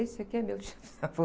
Esse aqui é meu tio avô.